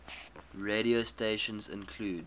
radio stations include